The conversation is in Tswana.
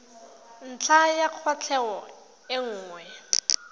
ntlha ya kwatlhao e nngwe